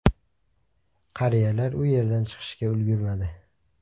Qariyalar u yerdan chiqishga ulgurmadi.